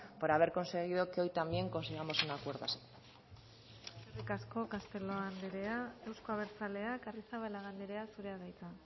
por haber conseguido que hoy también consigamos un acuerdo así eskerrik asko castelo anderea euzko abertzaleak arrizabalaga anderea zurea da hitza